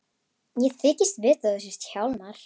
Ég þykist vita að þú sért Hjálmar.